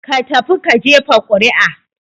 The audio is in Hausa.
Ka tafi ka jefa ƙuri'a!